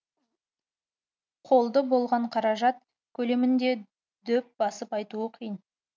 қолды болған қаражат көлемін де дөп басып айтуы қиын